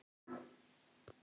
Við gleymum hvort öðru.